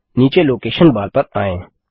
नीचे location bar पर आएँ